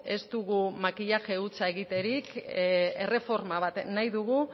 ez dugu makillaje hutsa egiterik erreforma bat nahi dugu